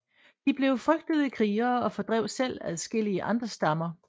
De blev frygtede krigere og fordrev selv adskillige andre stammer